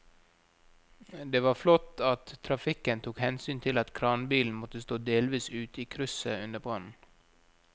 Det var flott at trafikken tok hensyn til at kranbilen måtte stå delvis ute i krysset under brannen.